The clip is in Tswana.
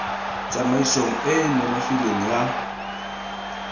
tsamaisong e e nonofileng ya